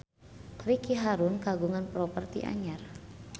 Ricky Harun kagungan properti anyar